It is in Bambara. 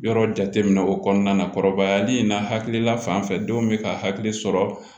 Yɔrɔ jate minɛ o kɔnɔna na kɔrɔbayali in na hakilila fan fɛ denw bɛ ka hakili sɔrɔ